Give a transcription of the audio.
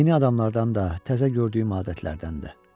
Yeni adamlardan da, təzə gördüyüm adətlərdən də.